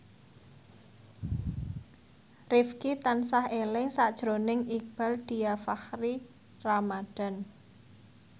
Rifqi tansah eling sakjroning Iqbaal Dhiafakhri Ramadhan